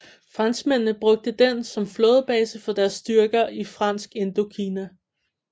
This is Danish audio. Franskmændene brugte den som flådebase for deres styrker i Fransk Indokina